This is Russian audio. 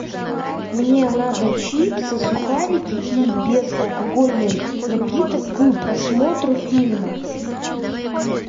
мне надо чипсы сухарики и безалкогольный напиток к просмотру фильма